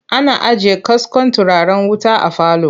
Ana ajiye kaskon turaren wuta a falo.